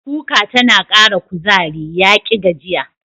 Kuka tana Ƙara kuzari, yaƙi gajiya.